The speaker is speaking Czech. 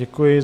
Děkuji.